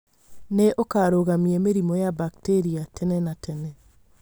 Na ũkarũgamia mĩrimũ ya bakteria tene na tene